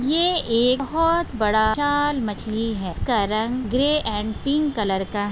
ये एक बहुत बड़ा विशाल मछली है जिसका रंग ग्रे अँड पिंक कलर का--